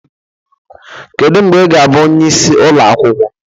Kedu mgbe ị ga-abụ onye isi ụlọ akwụkwọ?